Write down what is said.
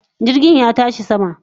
Jirgin ya tashi sama